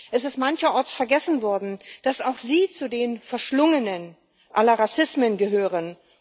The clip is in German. Es ist mancherorts vergessen worden, dass auch sie zu den Verschlungenen aller Rassismen gehören.